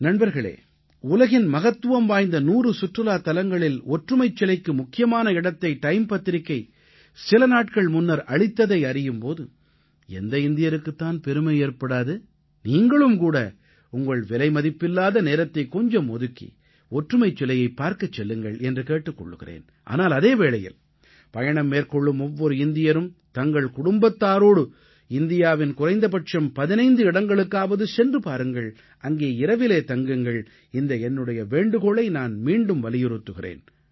நண்பர்களே உலகின் மகத்துவம் வாய்ந்த 100 சுற்றுலாத் தலங்களில் ஒற்றுமைச் சிலைக்கு முக்கியமான இடத்தை டைம் பத்திரிக்கை சில நாட்கள் முன்னர் அளித்ததை அறியும் போது எந்த இந்தியருக்குத் தான் பெருமை ஏற்படாது நீங்களும் கூட உங்கள் விலைமதிப்பில்லாத நேரத்தை கொஞ்சம் ஒதுக்கி ஒற்றுமைச் சிலையைப் பார்க்கச் செல்லுங்கள் என்று கேட்டுக் கொள்கிறேன் ஆனால் அதே வேளையில் பயணம் மேற்கொள்ளும் ஒவ்வொரு இந்தியரும் தங்களது குடும்பத்தாரோடு இந்தியாவின் குறைந்தபட்சம் 15 இடங்களுக்காவது சென்று பாருங்கள் அங்கே இரவிலே தங்குங்கள் இந்த என்னுடைய வேண்டுகோளை நான் மீண்டும் வலியுறுத்துகிறேன்